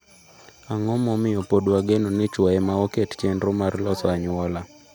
Ang’o momiyo pod wageno ni chwo ema oket chenro mar loso anyuola?